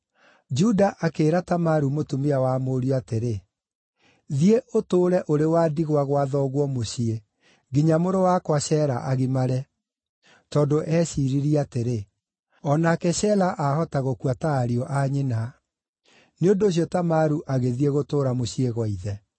Juda akĩĩra Tamaru mũtumia wa mũriũ atĩrĩ, “Thiĩ ũtũũre ũrĩ wa ndigwa gwa thoguo mũciĩ nginya mũrũ wakwa Shela agimare.” Tondũ eeciiririe atĩrĩ, “O nake Shela ahota gũkua ta ariũ a nyina.” Nĩ ũndũ ũcio Tamaru agĩthiĩ gũtũũra mũciĩ gwa ithe.